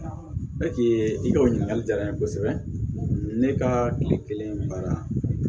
i ka o ɲininkali diyara n ye kosɛbɛ ne ka kile kelen baara